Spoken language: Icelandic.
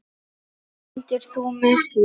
Stendur þú með því?